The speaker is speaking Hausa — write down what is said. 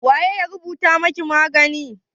waye ya rubuta maki magani?